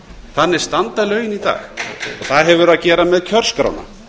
þannig standa lögin í dag það hefur að gera með kjörskrána